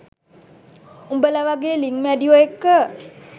උබලා වගෙ ලිං මැඩියො එක්ක